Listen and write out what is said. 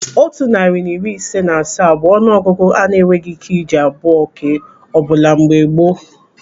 Otu narị na iri ise na asaa bụ ọnụ ọgụgụ a na-enweghị ị́ké iji abụọ kee ọbula mgbe gboo.